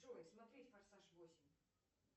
джой смотреть форсаж восемь